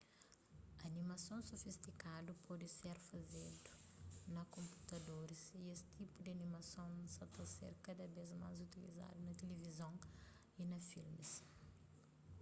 animasons sofistikadu pode ser fazedu na konputadoris y es tipu di animason sa ta ser kada vez más utilizadu na tilivizon y na filmis